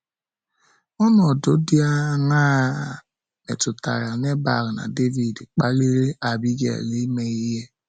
Ọnọdụ dị aṅaa a, metụtara Nebal na Devid kpaliri Abigail ime ihe?